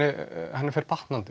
henni fer batnandi